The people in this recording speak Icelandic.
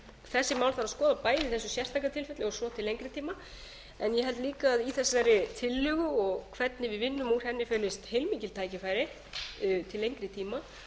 þessi mál þurfi að skoða bæði í þessu sérstaka tilfelli og svo til lengri tíma en ég held líka að í þessari tillögu og hvernig við vinnum úr henni felist heilmikið tækifæri til lengri tíma